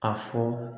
A fɔ